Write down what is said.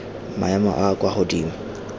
maemo a a kwa godimo